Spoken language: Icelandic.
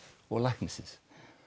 og læknisins